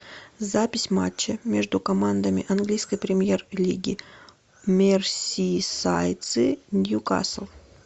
запись матча между командами английской премьер лиги мерсисайдцы ньюкасл